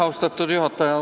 Austatud juhataja!